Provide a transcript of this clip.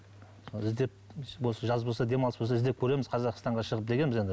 іздеп осы жаз болса демалыс болса іздеп көреміз қазақстанға шығып дегенбіз енді